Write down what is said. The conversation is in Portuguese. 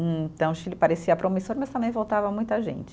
Então, o Chile parecia promissor, mas também voltava muita gente.